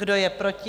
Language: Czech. Kdo je proti?